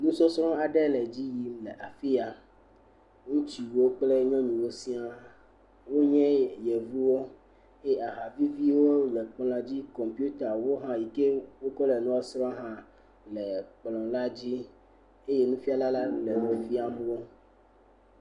Nusɔsrɛ̃ aɖe le edzi yim le afi ya. Ŋutsuwo kple nyɔnuwo sia wonye yevuwo eye ahaviviwo le ekplɔa dzi. Kɔpita yi ke wokɔ le nua srɔ̃m hã le kplɔa dzi eye nufiala le enu fiam wo.